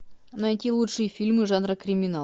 найти лучшие фильмы жанра криминал